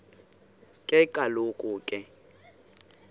ke kaloku ke